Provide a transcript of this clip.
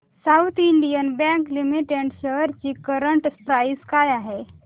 south Indian bank limited shares ची current price काय आहे